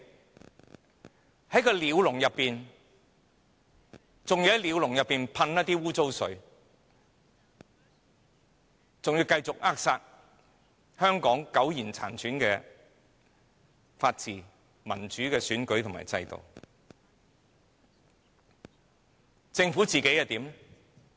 我們被困在鳥籠裏，他們還要向鳥籠噴灑污水，繼續扼殺香港苟延殘喘的法治、民主的選舉和制度。